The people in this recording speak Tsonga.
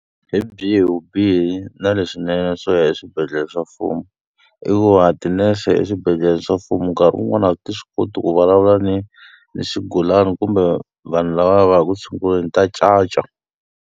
Hi byihi vubihi na leswinene swo ya eswibedhlele swa mfumo? I ku va tinese eswibedhlele swa mfumo nkarhi wun'wani a ti swi koti ku vulavula ni ni swigulana kumbe vanhu lava va yaka ku tshunguriweni, ta caca.